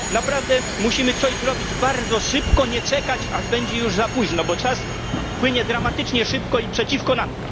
Naprawdę musimy coś zrobić bardzo szybko, nie czekać, aż będzie już za późno, bo czas płynie dramatycznie szybko i gra przeciwko nam.